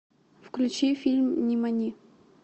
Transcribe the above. включи фильм нимани